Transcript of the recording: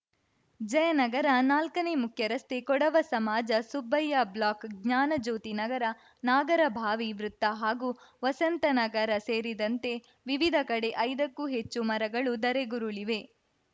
ಜಯನಗರ ನಾಲ್ಕನೇ ಮುಖ್ಯರಸ್ತೆ ಕೊಡವ ಸಮಾಜ ಸುಬ್ಬಯ್ಯ ಬ್ಲಾಕ್‌ ಜ್ಞಾನ ಜ್ಯೋತಿ ನಗರ ನಾಗರಭಾವಿ ವೃತ್ತ ಹಾಗೂ ವಸಂತನಗರ ಸೇರಿದಂತೆ ವಿವಿಧ ಕಡೆ ಐದಕ್ಕೂ ಹೆಚ್ಚು ಮರಗಳು ಧರೆಗುರುಳಿವೆ